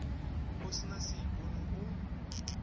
o se na seipone o